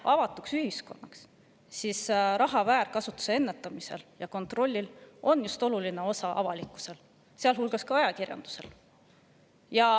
Avatud ühiskonnas on raha väärkasutuse ennetamises ja kontrollimises oluline osa just avalikkusel, sealhulgas ajakirjandusel.